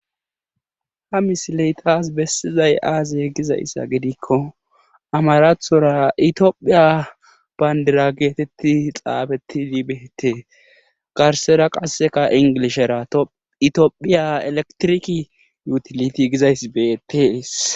Ha misile tas besizay aaze gizayssa gidikko amarathora itophiya banddira geeteti xaafetis xaafetidi beetees. garssara qassekka inglishera itophiy eleketirik yutilitiy gizayssi beetees.